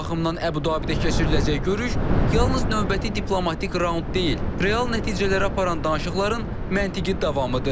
Bu baxımdan Əbu-Dabidə keçiriləcək görüş yalnız növbəti diplomatik raund deyil, real nəticələr aparan danışıqların məntiqi davamıdır.